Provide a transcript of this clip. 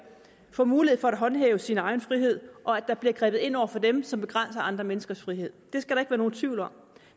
får mulighed for at håndhæve sin egen frihed og at der bliver grebet ind over for dem som begrænser andre menneskers frihed det skal der nogen tvivl om